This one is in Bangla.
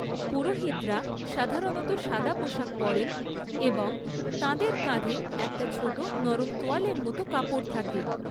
পুরোহিতরা সাধারণত সাদা পোশাক পরেন এবং তাঁদের কাঁধে একটা ছোটো নরম তোয়ালের মতো কাপড় থাকে।